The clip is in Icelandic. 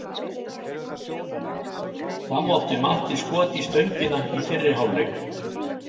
Þá átti Matti skot í stöngina í fyrri hálfleik.